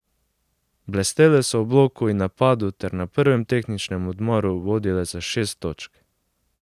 Blestele so v bloku in napadu ter na prvem tehničnem odmoru vodile za šest točk.